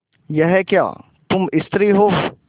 यह क्या तुम स्त्री हो